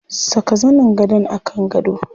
Saka zanin gadon a kan gado.